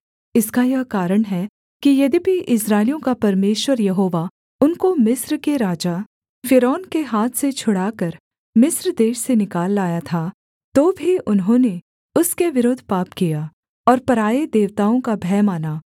इसका यह कारण है कि यद्यपि इस्राएलियों का परमेश्वर यहोवा उनको मिस्र के राजा फ़िरौन के हाथ से छुड़ाकर मिस्र देश से निकाल लाया था तो भी उन्होंने उसके विरुद्ध पाप किया और पराए देवताओं का भय माना